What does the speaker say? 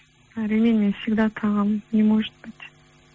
і ремень мен всегда тағамын не может быть